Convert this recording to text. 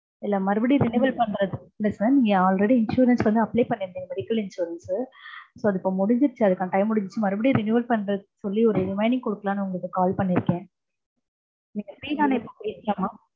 இல்ல மறுபடியும் renewal பண்றது இல்லைங்க sir நீங்க already insurance வந்து apply பண்ணிருந்தீங்க medical insurance so அது இப்போ முடிஞ்சிருச்சு அதுகான time முடிஞ்சிருச்சு மறுபடியும் renewal பண்றது சொல்லி remaining கொடுக்கலான்னு உங்களுக்கு call பண்ணிற்கேன் நீங்க free தானே பேசலாமா